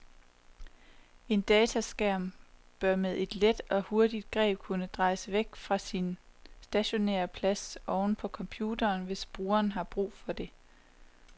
En dataskærm bør med et let og hurtigt greb kunne drejes væk fra sin stationære plads oven på computeren, hvis brugeren har behov for det.